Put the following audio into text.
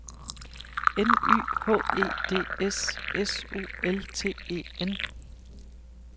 N Y H E D S S U L T E N